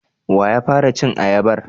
Wa ya fara cin ayabar?